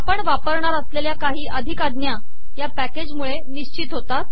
आपण वापरणार असलेलया काही अिधक आजा या पॅकेजमुळे िनिशत होतात